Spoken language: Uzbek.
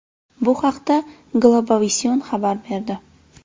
Bu haqda Globovision xabar berdi .